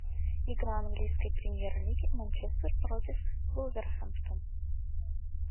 игра английской премьер лиги манчестер против вулверхэмптон